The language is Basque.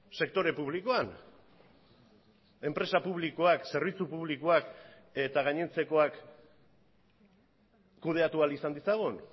sektore publikoan enpresa publikoak zerbitzu publikoak eta gainontzekoak kudeatu ahal izan ditzagun